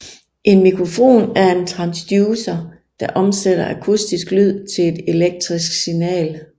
En mikrofon er en transducer der omsætter akustisk lyd til et elektrisk signal